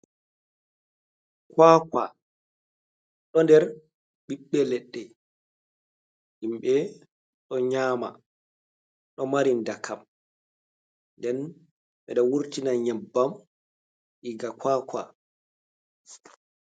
Kwakwa ɗo nder ɓiɓɓe leɗɗe, himɓe ɗo nyama, ɗo mari ndakam, nden ɓe ɗo wurtina nyebbam iga kwakwa.